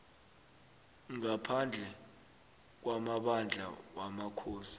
ngaphandle kwamabandla wamakhosi